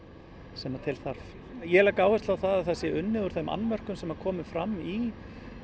sem til þarf ég legg áherslu á að það sé unnið úr þeim annmörkum sem komu fram í